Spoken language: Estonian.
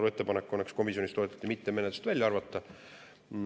Ma saan aru, et komisjoni ettepanek on seda mitte menetlusest välja arvata.